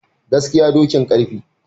Gaskiya dokin garfe